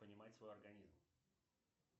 понимать свой организм